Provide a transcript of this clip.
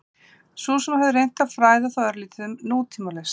Sú sem hafði reynt að fræða þá örlítið um nútímalist?